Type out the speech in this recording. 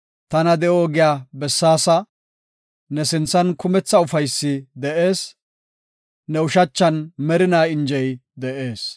Tana de7o ogiya bessaasa; ne sinthan kumetha ufaysi de7ees; ne ushachan merinaa injey de7ees.